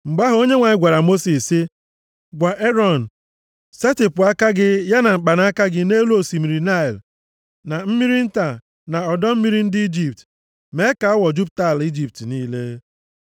Mgbe ahụ, Onyenwe anyị gwara Mosis sị, “Gwa Erọn, ‘Setịpụ aka gị ya na mkpanaka gị nʼelu osimiri niile, na mmiri nta na ọdọ mmiri ndị Ijipt, mee ka awọ jupụta ala Ijipt niile.’ ”